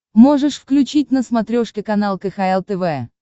можешь включить на смотрешке канал кхл тв